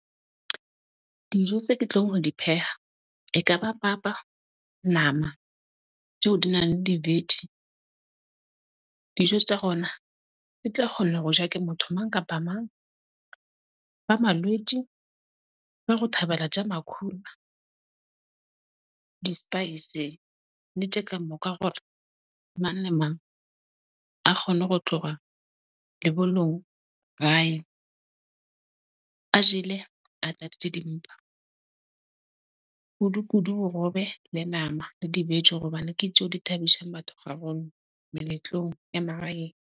Dijo tse ke tlong ho di pheha ekaba papa, nama tjeo di nang le di-vege. Dijo tja gona di tla kgona ho ja ke motho mang kapa ba malwetsi ba ho thabela tja makhura, di-spice ne tja moka hore mang le mang a kgone ho tloga , a jele a tladitse dimpa kudu kudu borobe le nama le di-vege hobane ke tje di thabishang batho gagolo meletlong ya magaeng.